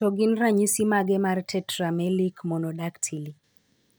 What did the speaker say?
To gin ranyisi mage mar Tetramelic monodactyly?